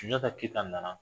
Sunjata Keyita nana